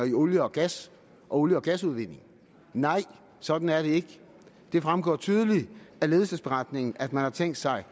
i olie og gas og olie og gasudvinding nej sådan er det ikke det fremgår tydeligt af ledelsesberetningen at man har tænkt sig